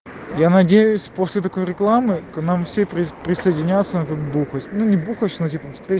я надеюсь после такой рекламы к нам все прис присоединяться на тот бухач ну не бухач ну типа встреч